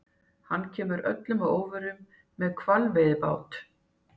Hann kemur öllum að óvörum- með hvalveiðibát!